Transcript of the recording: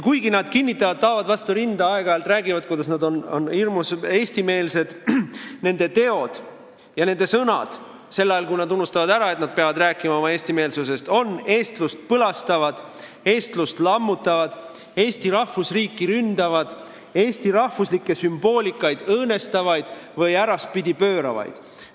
Kuigi nad kinnitavad, taovad vastu rinda ja aeg-ajalt räägivad, kuidas nad on hirmus eestimeelsed, on nende teod ja nende sõnad – sel ajal, kui nad unustavad ära, et nad peavad rääkima oma eestimeelsusest – eestlust põlastavad, eestlust lammutavad, Eesti rahvusriiki ründavad, eesti rahvuslikku sümboolikat õõnestavad või äraspidi pööravad.